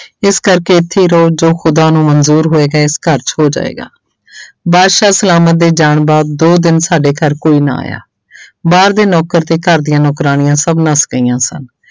ਇਸ ਕਰਕੇ ਇੱਥੇ ਹੀ ਰਹੋ ਜੋ ਖੁੱਦਾ ਨੂੰ ਮੰਨਜ਼ੂਰ ਹੋਏਗਾ ਇਸ ਘਰ 'ਚ ਹੋ ਜਾਏਗਾ ਬਾਦਸ਼ਾਹ ਸਲਾਮਤ ਦੇ ਜਾਣ ਬਾਅਦ ਦੋ ਦਿਨ ਸਾਡੇ ਘਰ ਕੋਈ ਨਾ ਆਇਆ ਬਾਹਰ ਦੇ ਨੌਕਰ ਤੇ ਘਰ ਦੀਆਂ ਨੌਕਰਾਣੀਆਂ ਸਭ ਨੱਸ ਗਈਆਂ ਸਨ।